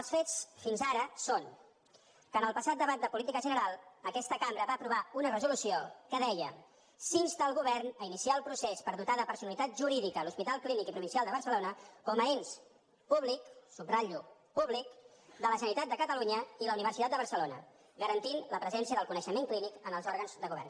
els fets fins ara són que en el passat debat de política general aquesta cambra va aprovar una resolució que deia s’insta el govern a iniciar el procés per dotar de personalitat jurídica l’hospital clínic i provincial de barcelona com a ens públic subratllo públic de la generalitat de catalunya i la universitat de barcelona garantint la presència del coneixement clínic en els òrgans de govern